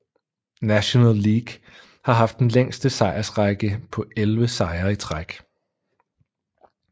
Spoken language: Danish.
National League har haft den længste sejrsrække på 11 sejre i træk